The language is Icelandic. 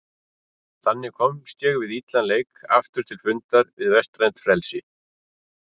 Þannig komst ég við illan leik aftur til fundar við vestrænt frelsi.